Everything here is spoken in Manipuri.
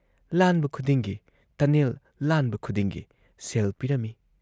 ꯂꯥꯟꯕ ꯈꯨꯗꯤꯡꯒꯤ ꯇꯅꯦꯜ ꯂꯥꯟꯕ ꯈꯨꯗꯤꯡꯒꯤ ꯁꯦꯜ ꯄꯤꯔꯝꯏ ꯫